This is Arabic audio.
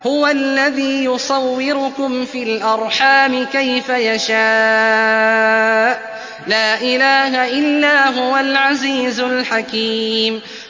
هُوَ الَّذِي يُصَوِّرُكُمْ فِي الْأَرْحَامِ كَيْفَ يَشَاءُ ۚ لَا إِلَٰهَ إِلَّا هُوَ الْعَزِيزُ الْحَكِيمُ